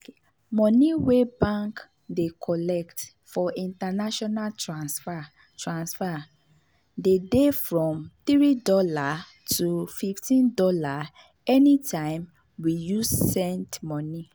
mone wey bank dey collect for international transfer transfer dey dey from $3 to fifteen dollars anytime we you send money